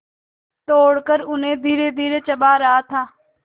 तोड़कर उन्हें धीरेधीरे चबा रहा था